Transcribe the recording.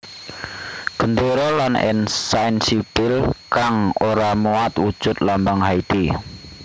Gendéra lan ensain sipil kang ora muat wujud lambang Haiti